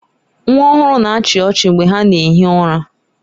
Nwa ọhụrụ na-achị ọchị mgbe ha na ehi ụra.